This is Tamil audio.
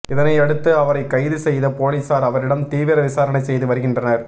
இதனை அடுத்து அவரை கைது செய்த போலீசார் அவரிடம் தீவிர விசாரணை செய்து வருகின்றனர்